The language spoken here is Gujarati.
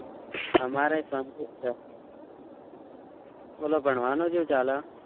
અમારે શાંતિ છે બોલો ભણવાનું કેવું ચાલે